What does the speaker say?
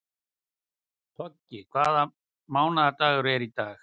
Toggi, hvaða mánaðardagur er í dag?